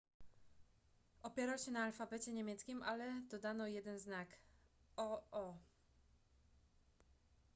opierał się na alfabecie niemieckim ale dodano jeden znak: õ/õ